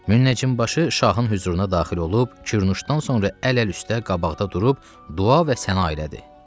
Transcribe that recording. Münəccim başı şahın hüzuruna daxil olub kürnuşdan sonra əl əl üstə qabaqda durub dua və səna elədi.